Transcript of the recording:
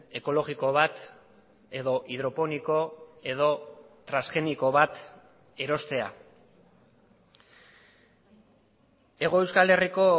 ekologiko bat edo hidroponiko edo transgeniko bat erostea hego euskal herriko